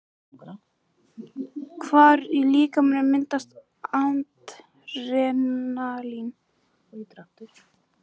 Hvar í líkamanum myndast Adrenalín?